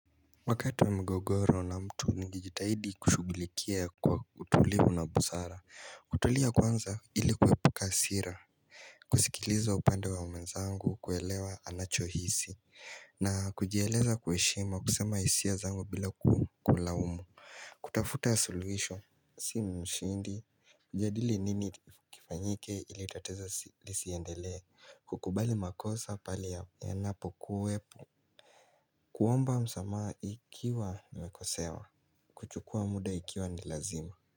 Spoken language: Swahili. Wakati wa mgogoro na mtu nigijitahidi kushugulikia kwa utulivu na busara. Kutulia kwanza ili kwepuka sira kusikiliza upande wa mwenzangu kuelewa anachohisi na kujieleza kwa heshima kusema hisia zangu bila kulaumu kutafuta ya suluisho si mshindi Kujadili nini kifanyike ili itateza lisiendelea kukubali makosa pali ya napokuo epu kuomba msamaa ikiwa namekosewa kuchukua muda ikiwa ni lazima.